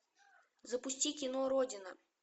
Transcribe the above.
запусти кино родина